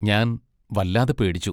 ഞാൻ വല്ലാതെ പേടിച്ചു.